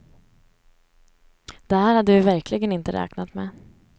Det här hade vi verkligen inte räknat med.